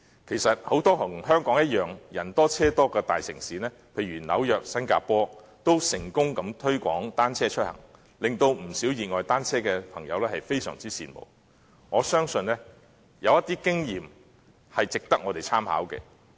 其實，很多像香港般人多車多的大城市，例如紐約和新加坡，均成功推廣單車出行，令不少熱愛單車的朋友非常羨慕，我相信有些經驗值得我們參考。